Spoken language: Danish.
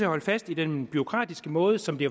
holde fast i den bureaukratiske måde som det